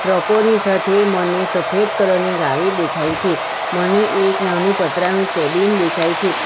ટ્રકો ની સાથે મને સફેદ કલર ની ગાડી દેખાય છે મને એક નાનુ પતરાનું કેબિન દેખાય છે.